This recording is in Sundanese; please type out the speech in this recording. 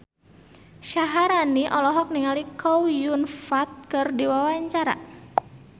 Syaharani olohok ningali Chow Yun Fat keur diwawancara